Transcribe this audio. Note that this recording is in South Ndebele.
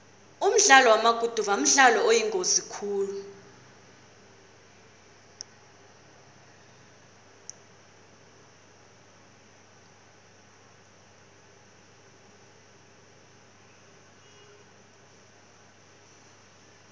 umdlalo wamaguduva mdlalo oyingozi khulu